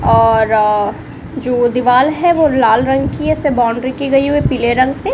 और अ जो दीवाल है वो लाल रंग की है उसमे बाउंड्री की गई हुई पीले रंग से।